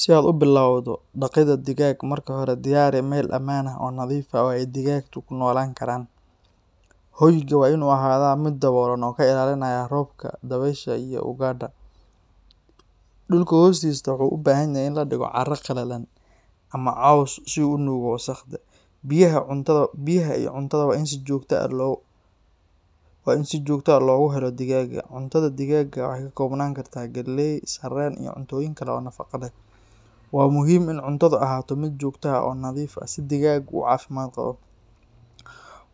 Si aad u bilowdo dhaqidda digaag, marka hore diyaari meel ammaan ah oo nadiif ah oo ay digaaggu ku noolaan karaan. Hoyga waa inuu ahaadaa mid daboolan oo ka ilaalinaya roobka, dabaysha iyo ugaadha. Dhulka hoostiisa wuxuu u baahan yahay in la dhigo carro qalalan ama caws si uu u nuugo wasakhda. Biyaha iyo cuntada waa in si joogto ah loogu helo digaagga. Cuntada digaagga waxay ka koobnaan kartaa galley, sarreen, iyo cuntooyin kale oo nafaqo leh. Waa muhiim in cuntadu ahaato mid joogto ah oo nadiif ah si digaaggu u caafimaad qabo.